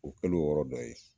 O kɛlen o yɔrɔ dɔ ye